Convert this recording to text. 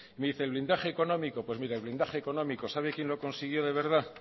me dice el blindaje económico pues mire el blindaje económico sabe quién lo consiguió de verdad